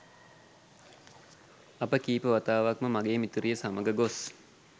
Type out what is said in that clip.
අපි කීප වතාවක්ම මගේ මිතුරිය සමඟ ගොස්